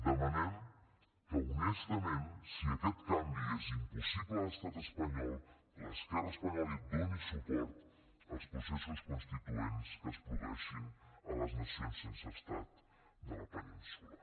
demanem que honestament si aquest canvi és impossible a l’estat espanyol l’esquerra espanyola doni suport als processos constituents que es produeixin a les nacions sense estat de la península